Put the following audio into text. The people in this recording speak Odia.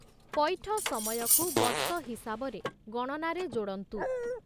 ପଇଠ ସମୟକୁ, ବର୍ଷ ହିସାବରେ ଗଣନାରେ ଯୋଡ଼ନ୍ତୁ ।